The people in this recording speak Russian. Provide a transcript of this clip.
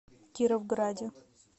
кировграде